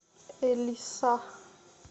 элиса